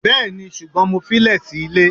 bẹẹni, sugbon mo fi lè sí ìlé